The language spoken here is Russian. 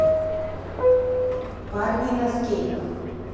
парни на скейтах